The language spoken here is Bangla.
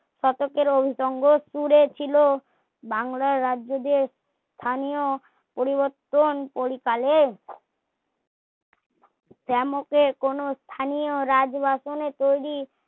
শতকের অনুষঙ্গ টুরে ছিলো বাংলার রাজ্য দিয়ে স্থানীয় পরিবর্তন পরিকালে জ্যামকে কোনো স্থানীয় রাজ্ বাসনে তৈরী